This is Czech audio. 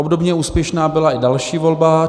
Obdobně úspěšná byla i další volba.